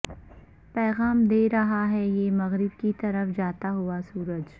پیغام دے رہا ہے یہ مغرب کی طرف جاتا ہوا سورج